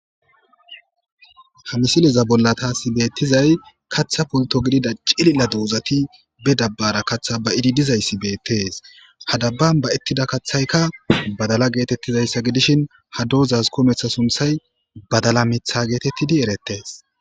hamisileza bollataasi beettizay katha pulto gidida cililla duuzati be dabbara kaththa ba idi dizayssi beettees hadabban ba ettida kaththaykka badala geetettizayssa gidishin ha doozaz kometha sunthay badala mitha geetettidi erettees